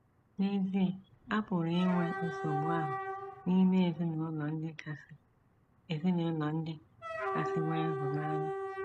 N’ezie, a pụrụ inwe nsogbu ahụ n’ime ezinụlọ ndị kasị ezinụlọ ndị kasị nwee ịhụnanya.